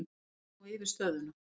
Þeir fari nú yfir stöðuna.